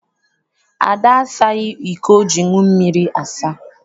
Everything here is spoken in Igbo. Ada asaghị iko o ji aṅụ mmiri asa.